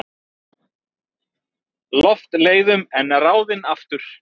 Loftleiðum en ráðinn aftur.